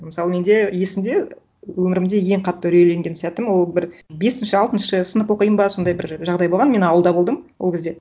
мысалы менде есімде өмірімде ең қатты үрейленген сәтім ол бір бесінші алтыншы сынып оқимын ба сондай бір жағдай болған мен ауылда болдым ол кезде